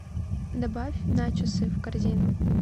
добавь начосы в корзину